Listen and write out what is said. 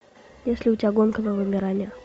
есть ли у тебя гонка на вымирание